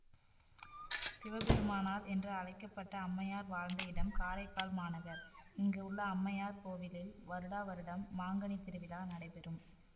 சிவ பெருமானால் என்று அழைக்கபட்ட அம்மையார் வாழ்ந்த இடம் காரைக்கால் மாநகர்இங்கு உள்ள அம்மையார் கோவிலில் வருடா வருடம் மாங்கனி திருவிழா நடைபெறும்